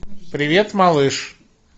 привет малыш